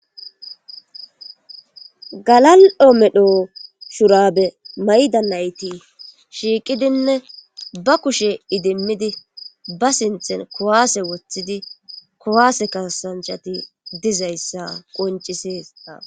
Galal7o medho shurabe mayda nayti shiiqidinne ba kushe idimmidi ba sinten kowaase woththidi kowaase kasanchati dizayssa qoncisesda.